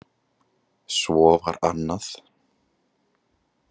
Svo var annað.